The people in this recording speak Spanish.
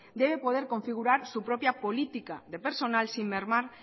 debe poder configurar su propia política de personal